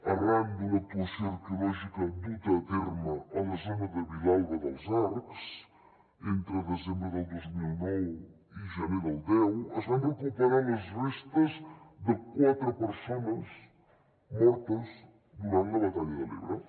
arran d’una actuació arqueològica duta a terme a la zona de vilalba dels arcs entre desembre del dos mil nou i gener del deu es van recuperar les restes de quatre persones mortes durant la batalla de l’ebre